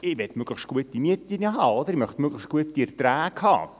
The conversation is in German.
– Ich will möglichst gute Mieten, möglichst gute Erträge haben.